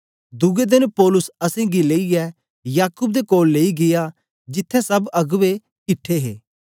दुए देन पौलुस असेंगी लेईयै याकूब दे कोल गीया जिथें सब अगबें किट्ठे हे